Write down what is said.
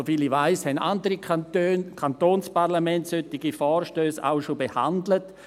Soviel ich weiss, haben andere Kantonsparlamente solche Vorstösse auch schon behandelt.